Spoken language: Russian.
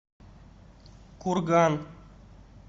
курган